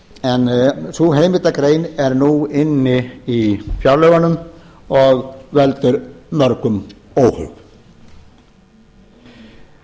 en sú heimildargrein er nú inni í fjárlögunum og veldur mörgum óhug en á